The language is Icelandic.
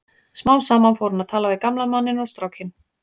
Smám saman fór hún að tala við gamla manninn og strákinn.